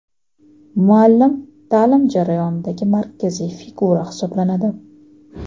Muallim ta’lim jarayonidagi markaziy figura hisoblanadi.